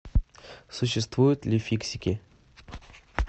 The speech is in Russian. существуют ли фиксики